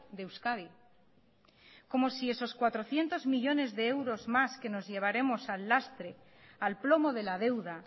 de euskadi como si esos cuatrocientos millónes de euros más que nos llevaremos al lastre al plomo de la deuda